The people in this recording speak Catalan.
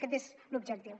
aquest és l’objectiu